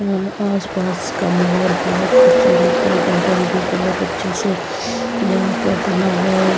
आसपास का माहौल बहुत खूबसूरत है गार्डन भी बहुत अच्छे से यहां पर बना हुआ है।